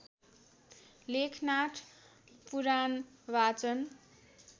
लेखनाथ पुराण वाचन